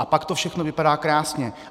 A pak to všechno vypadá krásně.